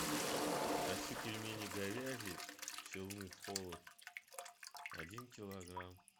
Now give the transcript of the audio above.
хочу пельмени говяжьи челны холод один килограмм